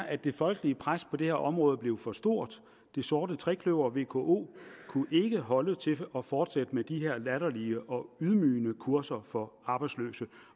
at det folkelige pres på det her område blev for stort det sorte trekløver vko kunne ikke holde til at fortsætte med de her latterlige og ydmygende kurser for arbejdsløse